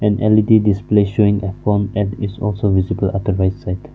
led display showing a phone and is also visible at the right side.